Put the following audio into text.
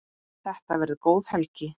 Þetta verður góð helgi.